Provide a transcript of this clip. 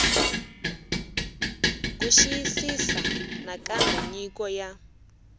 ku xiyisisisa nakambe nyiko ya